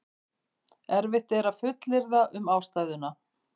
erfitt er að fullyrða um ástæðuna